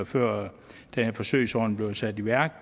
før den her forsøgsordning blev sat i værk